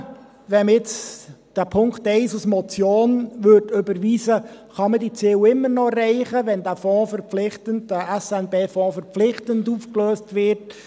Kann man, wenn man den Punkt 1 als Motion überweist, diese Ziele immer noch erreichen, wenn der SNB-Fonds also 2023 verpflichtend aufgelöst wird?